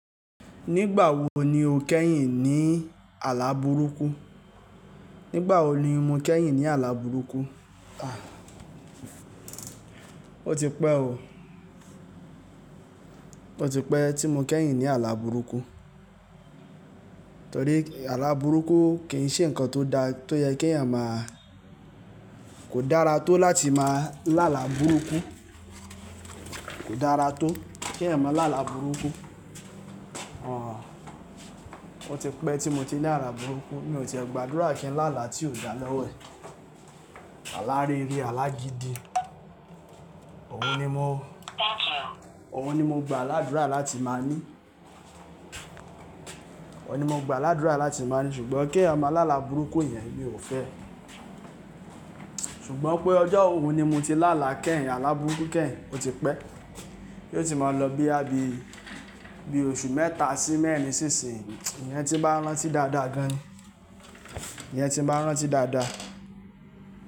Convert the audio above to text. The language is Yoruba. Nígbà wo ni o kẹ́yìn ní àlá burúkú? Nígbà wo ni mo kẹ́yìn ní àlá burúkú? A! Ó ti pẹ́ o. Ó ti pẹ́ tí mo kẹ́yìn ní àlá burúkú. Torí àlá burúkú kì í ṣe ǹkan tó da tó yẹ kí ẹ̀yàn máa-- kò dára tó láti máa lá àlá burúkú. Kò dára tó kí ẹ̀yàn máa lá àlá burúkú. Àh! Ó ti pẹ́ tí mo ti ní àlá burúkú. Mi ò ti gbàdúrà kí n lá àlá tí ò dára lọ́wọ́ ẹ̀. Àlá rere, àlá gidi, òun ni mo, òun ni mo gba àládúrà láti máa ní. Òun ni mo gba ládúrà láti máa ní sùgbọ́n kí ẹ̀yàn máa lá àlá burúkú yẹn mi ò fẹ́. Ṣùgbọ́n pé wọ ni mo ti lá àlá kẹ́yìn, àlá burúkú kẹ́yìn, ó ti pẹ́. Yóò ti máa lọ bí i, bí i oṣù mẹ́ta sí mẹ́rin ṣíṣin. Iyẹn tí bá rán tí dáadáa gan ni. Iyẹn tí bá rántí dáadáa.